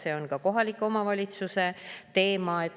See on ka kohaliku omavalitsuse teema.